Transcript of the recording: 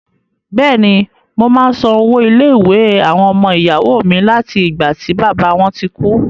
Bẹ̀ẹ̀ni, mo máa ń san owó ilé-ìwé àwọn ọmọ ìyàwó mi láti ìgbà tí bàbá wọn ti kú.